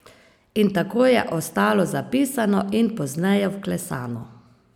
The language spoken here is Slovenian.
In tako je ostalo zapisano in pozneje vklesano.